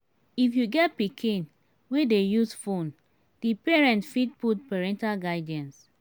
if you get pikin wey dey use phone di parent fit put parental guidance